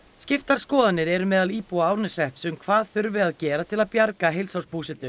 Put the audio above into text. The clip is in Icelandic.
skiptar skoðanir eru meðal íbúa Árneshrepps um hvað þurfi að gera til að bjarga